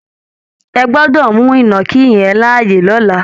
Ẹ gbọ́dọ̀ mú ìnàkí yẹn láàyè lọ́là!